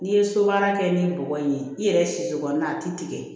N'i ye so baara kɛ ni bɔgɔ in ye i yɛrɛ si so kɔnɔ a tɛ tigɛ